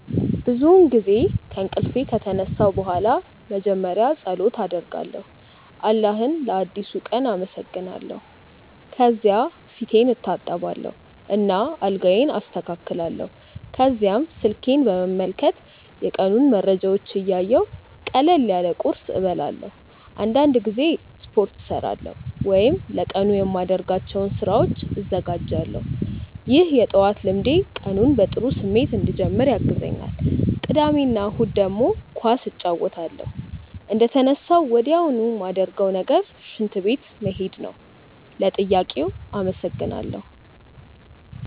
ብዙውን ጊዜ ከእንቅልፌ ከተነሳሁ በኋላ መጀመሪያ ፀሎት አደርጋለሁ አላህን ለአዲሱ ቀን አመሰግናለሁ። ከዚያ ፊቴን እታጠባለሁ እና አልጋዬን አስተካክላለሁ። ከዚያም ስልኬን በመመልከት የቀኑን መረጃዎች እያየሁ ቀለል ያለ ቁርስ እበላለሁ። አንዳንድ ጊዜ ስፖርት እሠራለሁ ወይም ለቀኑ የማደርጋቸውን ስራዎች እዘጋጃለሁ። ይህ የጠዋት ልምዴ ቀኑን በጥሩ ስሜት እንድጀምር ያግዘኛል። ቅዳሜ እና እሁድ ደግሞ ኳስ እጫወታለሁ። እንደተነሳሁ ወዲያውኑ ማረገው ነገር ሽንት ቤት መሄድ ነው። ለጥያቄው አመሰግናለው።